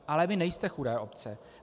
Ale vy nejste chudé obce.